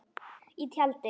Í tjaldi.